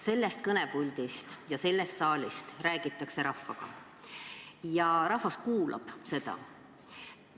Sellest kõnepuldist ja sellest saalist räägitakse rahvaga ja rahvas kuulab seda.